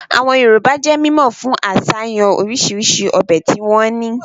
Àwọn Yorùbá jẹ́ mímọ̀ fún àsàyàn orisirisi ọbẹ̀ tí wọ́n ní